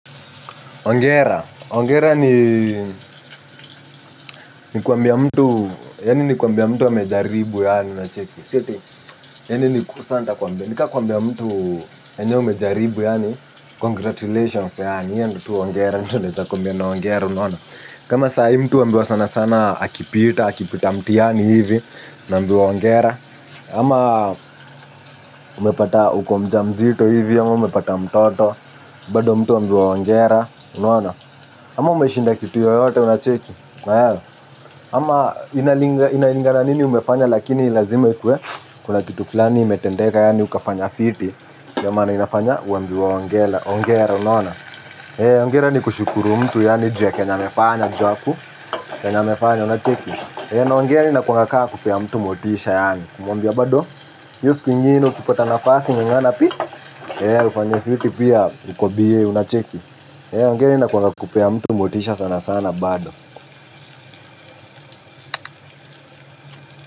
Hongera, hongera ni ni kuambia mtu, yani ni nikuambia mtu amejaribu yani unacheki. Si eti, yani ni ku sa ntakuambia, nika kuambia mtu enyewe umejaribu yani, congratulations yaani iyo ndio tu hongera, nitu ntakumbia na hongera, unaona? Kama sahi mtu uambia sana sana akipita, akipita mtiani hivi, unaambia hongera. Ama umepata uko mjamzito hivi, ama umepata mtoto, bado mtu uambiwa hongera, unaona. Ama umeshinda kitu yoyote unacheki. Ama inalingana nini umefanya lakini lazime ikue. Kuna kitu flani imetendeka yani ukafanya fiti nduo maana inafanya uambiwe hongera, hongera unaona. Hei, hongera ni kushukuru mtu yani ju ya kenye amefanya ju yaku. Kenye amefanya unacheki. Na hongera inakuwanga ka kupea mtu motisha yani. Kumwambia bado. Iyo siku ingine ukipata nafasi ngangana pi eeh ufanye fiti pia uko bie unacheki hongera inakuwanga kupea mtu motisha sana sana bado.